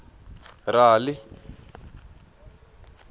rali